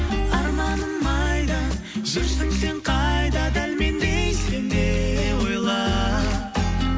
арманым айда жүрсің сен қайда дәл мендей сен де ойла